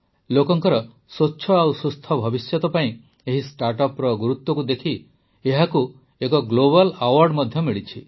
ଲୋକଙ୍କର ସ୍ୱଚ୍ଛ ଓ ସୁସ୍ଥ ଭବିଷ୍ୟତ ପାଇଁ ଏହି ଷ୍ଟାର୍ଟଅପର ଗୁରୁତ୍ୱକୁ ଦେଖି ଏହାକୁ ଏକ ଗ୍ଲୋବାଲ୍ ଆୱାର୍ଡ ମଧ୍ୟ ମିଳିଛି